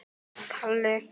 Nú, hvers vegna?